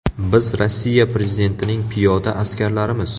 Biz Rossiya prezidentining piyoda askarlarimiz.